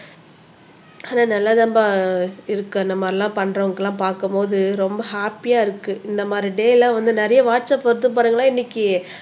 ஆனா நல்லா தான்பா இருக்கு அந்த மாதிரி எல்லம் பண்றவங்களை எல்லாம் பார்க்கும் போது ரொம்ப ஹேப்பியா இருக்கு இந்த மாதிரி டே எல்லாம் வந்து நிறைய வாட்ஸ் அப் இன்னைக்கு